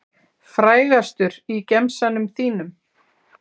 Frægastur í gemsanum þínum?